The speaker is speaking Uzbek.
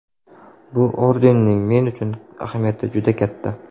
Bu ordenning men uchun ahamiyati juda katta.